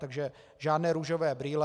Takže žádné růžové brýle.